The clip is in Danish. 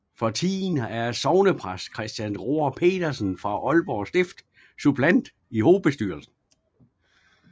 For tiden er sognepræst Christian Roar Pedersen fra Aalborg Stift suppleant i hovedbestyrelsen